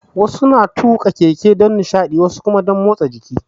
Wasu suna tuƙa keke dan nishadi, wasu kuma dan motsa jiki.